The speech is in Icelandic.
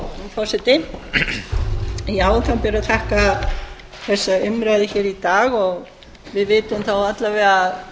forseti já það ber að þakka þessa umræðu hér í dag og við vitum þá alla vega